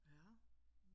Ja